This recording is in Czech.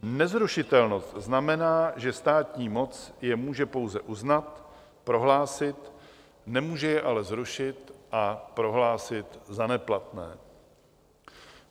Nezrušitelnost znamená, že státní moc je může pouze uznat, prohlásit, nemůže je ale zrušit a prohlásit za neplatné.